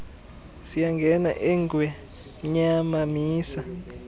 siyangena engwemnyama misa